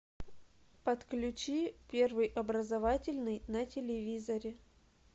подключи первый образовательный на телевизоре